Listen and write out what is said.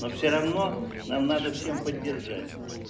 но всё равно надо всем поддержать